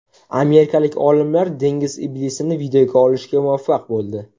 Amerikalik olimlar dengiz iblisini videoga olishga muvaffaq bo‘ldi .